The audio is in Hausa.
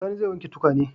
Sani zai wanke tukwanen.